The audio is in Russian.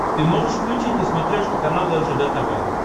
ты можешь включить на смотрешке канал ржд тв